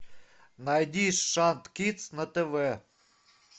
найди шант кидс на тв